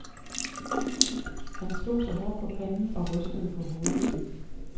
Han slog sig hårdt på panden og rystede på hovedet.